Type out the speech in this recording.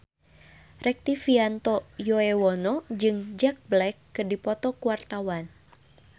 Rektivianto Yoewono jeung Jack Black keur dipoto ku wartawan